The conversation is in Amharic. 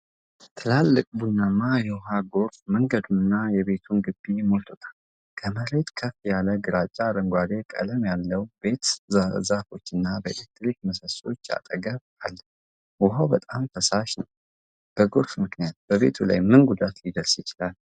ትላልቅ ቡናማ የውሃ ጎርፍ መንገዱንና የቤትን ግቢ ሞልቶታል። ከመሬት ከፍ ያለ ግራጫ-አረንጓዴ ቀለም ያለው ቤት በዛፎችና የኤሌክትሪክ ምሰሶዎች አጠገብ አለ። ውሃው በጣም ፈሳሽ ነው። በጎርፉ ምክንያት በቤቱ ላይ ምን ጉዳት ሊደርስ ይችላል?